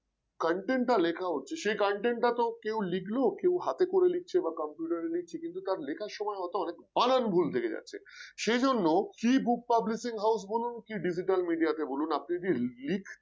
content টা লেখা হচ্ছে সে content টা তো কেউ লিখল কেউ হাতে করে লিখছে বা computer এ লিখছে কিন্তু তার লেখার সময় হয়তো অনেক বানান ভুল থেকে যাচ্ছে সেজন্য free book publishing house বলুন বা Digita কে বলুন আপনি লিখ